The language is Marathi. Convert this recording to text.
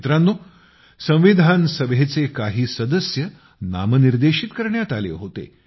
मित्रांनो संविधान सभेचे काही सदस्य नामनिर्देशित करण्यात आले होते